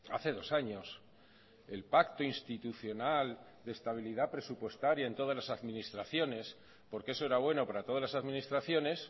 hace dos años el pacto institucional de estabilidad presupuestaria en todas las administraciones porque eso era bueno para todas las administraciones